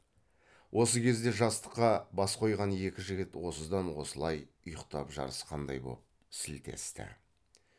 осы кезде жастыққа бас қойған екі жігіт осыдан осылай ұйқтап жарысқандай боп сілтесті